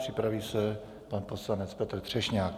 Připraví se pan poslanec Petr Třešňák.